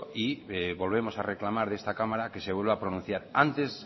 y volvemos a reclamar a esta cámara que se vuelva a pronunciar antes